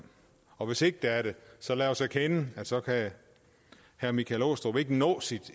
og hvis ikke det er det så lad os erkende at så kan herre michael aastrup jensen ikke nå sit